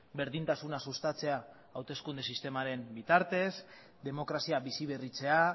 berdintasuna sustatzea hauteskunde sistemaren bitartez demokrazia bizi berritzea